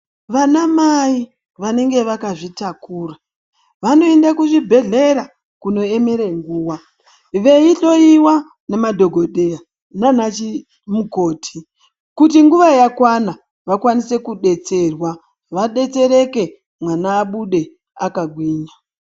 Vana mai vanenge vakazvitakura vanoende kuchibhedhlera kunoemere nguwa, veihloiwa nemadhokodheya nana mukoti kuti nguva yakwana vakwanise kudetserwa, vadetsereke mwana abude akagwinya.